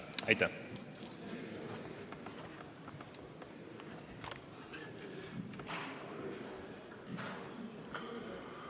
Aitäh!